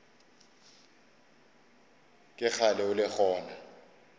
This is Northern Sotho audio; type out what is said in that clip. ke kgale o le gona